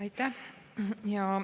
Aitäh!